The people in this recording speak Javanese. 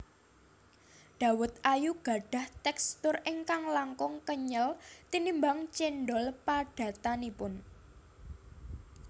Dawet ayu gadhah tekstur ingkang langkung kenyel tinimbang cendhol padatanipun